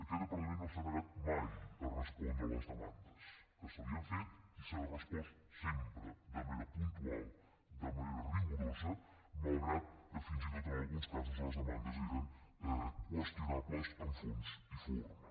aquest departament no s’ha negat mai a respondre les demandes que se li han fet i s’ha respost sempre de manera puntual de manera rigorosa malgrat que fins i tot en alguns casos les demandes eren qüestionables en fons i forma